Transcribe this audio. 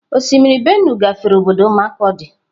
Osimiri Benue gafere obodo markurdi.